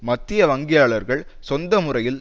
மத்திய வங்கியாளர்கள் சொந்த முறையில்